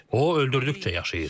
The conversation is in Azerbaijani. O öldürdükcə yaşayır.